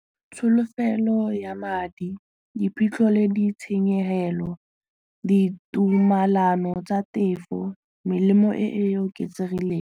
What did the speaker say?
Tsholofelo ya madi diphitlho le di tshenyegelo, ditumalano tsa tefo melemo e e oketsegileng.